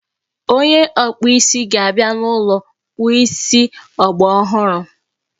Onye ọkpụ isi ga-abịa n'ụlọ kpụọ isi ọgbaraọhụrụ